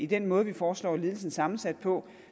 den måde vi foreslår ledelsen sammensat på